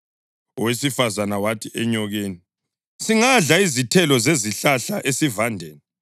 Owesifazane wathi enyokeni, “Singadla izithelo zezihlahla esivandeni,